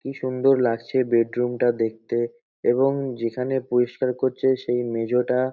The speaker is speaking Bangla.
কি সুন্দর লাগছে বেডরুম -টা দেখতে এবং যেখানে পরিষ্কার করছে সেই মেঝেটা--